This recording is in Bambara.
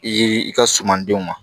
I y'i ka sumandenw ma